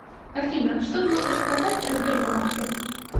афина что можешь сказать о сбербанке